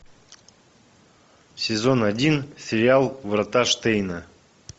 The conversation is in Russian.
сезон один сериал врата штейна